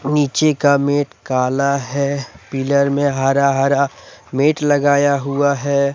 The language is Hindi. नीचे का मेट काला है पिलर में हरा हरा मेट लगाया हुआ है।